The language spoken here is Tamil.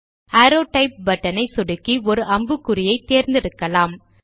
அரோவ் டைப் பட்டன் ஐ சொடுக்கி ஒரு அம்புக்குறியை தேர்ந்தெடுக்கலாம்